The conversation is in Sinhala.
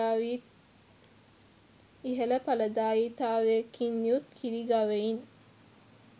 ඉහළ ඵලදායිතාවකින් යුත් කිරි ගවයින්